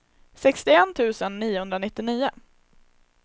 sextioett tusen etthundranittionio